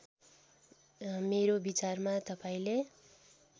मेरो विचारमा तपाईँले